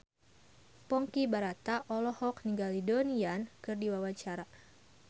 Ponky Brata olohok ningali Donnie Yan keur diwawancara